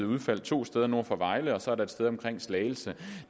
udfald to steder nord for vejle og så et sted omkring slagelse